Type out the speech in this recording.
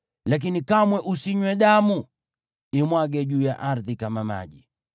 Lakini kamwe usinywe damu; imwage juu ya ardhi kama maji.